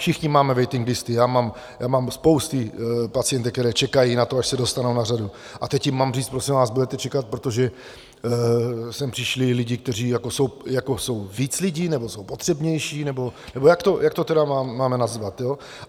Všichni máme waiting listy, já mám spoustu pacientek, které čekají na to, až se dostanou na řadu, a teď jim mám říct: Prosím vás, budete čekat, protože sem přišli lidé, kteří jsou víc lidi, nebo jsou potřebnější, nebo jak to tedy máme nazvat?